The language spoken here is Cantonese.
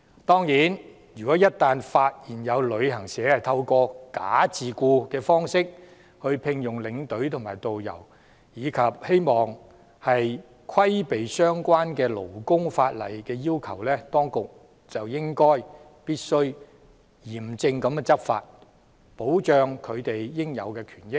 當然，若一旦發現有旅行社透過"假自僱"方式聘用領隊或導遊，以規避相關的勞工法例要求，當局就必須嚴正執法，以保障領隊或導遊的應有權益。